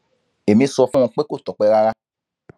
èmi sọ fún un pé kò tọpẹ rárá